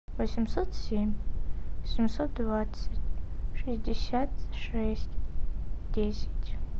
восемьсот семь семьсот двадцать шестьдесят шесть десять